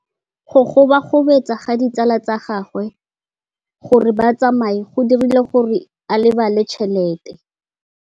Go gobagobetsa ga ditsala tsa gagwe, gore ba tsamaye go dirile gore a lebale tšhelete.